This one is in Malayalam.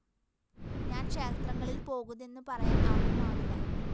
ഞാന്‍ ക്ഷേത്രങ്ങളില്‍ പോകുതെന്ന് പറയാന്‍ ആര്‍ക്കുമാവില്ല